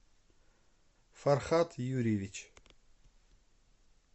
фархат юрьевич